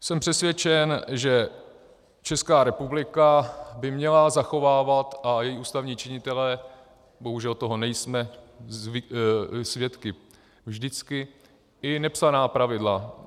Jsem přesvědčen, že Česká republika by měla zachovávat, a i ústavní činitelé, bohužel toho nejsme svědky vždycky, i nepsaná pravidla.